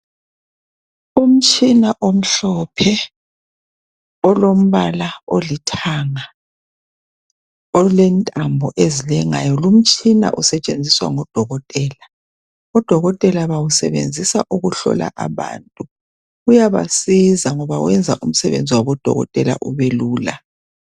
Umtshina omhlophe olombala olithanga olentambo ezilengayo. Lumtshina usetshenziswa ngodokotela. Odokotela bawusebenzisa ukuhlola bantu. Uyabasiza ngoba wenza umsebenzi wabodokotela ubelula.